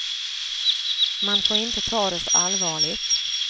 Man får inte ta det så allvarligt.